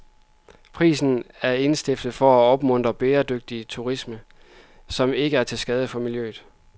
Prisen er indstiftet for at opmuntre bæredygtig turisme, som ikke er til skade for miljøet.